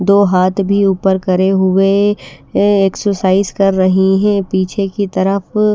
दो हाथ भी ऊपर करे हुए अ एक्सरसाइज कर रही हैं पीछे की तरफ--